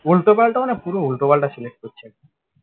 উল্টো পাল্টা মানে পুরো উল্টো পাল্টা select করছে